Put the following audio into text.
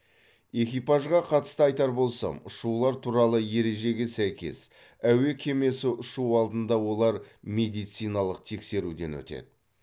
экипажға қатысты айтар болсам ұшулар туралы ережеге сәйкес әуе кемесі ұшу алдында олар медициналық тексеруден өтеді